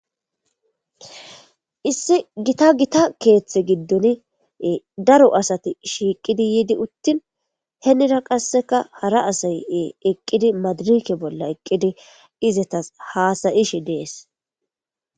Issi gitta gitta keththa gidon ee daro asati shiqidi yid utin henira qasekka hara asay ee eqidi madirekke bolla eqidi izetas hasayishshe des